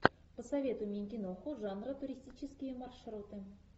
посоветуй мне киноху жанра туристические маршруты